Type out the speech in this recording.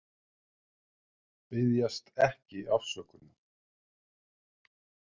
Biðjast ekki afsökunar